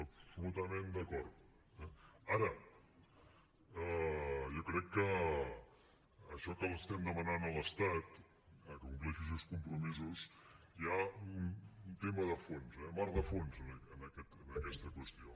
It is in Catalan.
absolutament d’acord eh ara jo crec que en això que estem demanant a l’estat que compleixi els seus compromisos hi ha un tema de fons eh mar de fons en aquesta qüestió